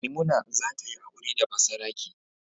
Maimuna za ta yi aure da basarake.